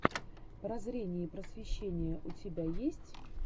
прозрение и просвещение у тебя есть